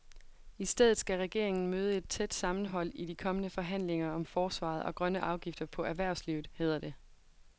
I stedet skal regeringen møde et tæt sammenhold i de kommende forhandlinger om forsvaret og grønne afgifter på erhvervslivet, hedder det.